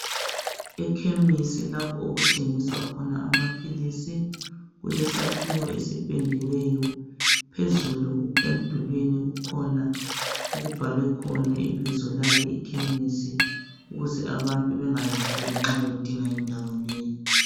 Ekhemesi laapho okuthengiswa khona amaphilisi, kulesakhiwo esipendiweyo phezulu emdulwini kukhona okubhalwe khona ibizo lale ikhemisi ukuze abantu bengalahleki nxa bedinga indawo leyi.